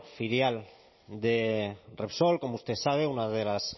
filial de repsol como usted sabe una de las